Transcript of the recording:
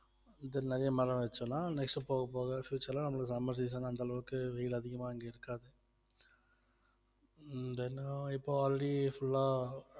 இது நிறைய மரம் வச்சுலாம் next போக போக future லாம் நம்மளுக்கு summer season அந்த அளவுக்கு வெயில் அதிகமா இங்க இருக்காது உம் then இப்ப already full ஆ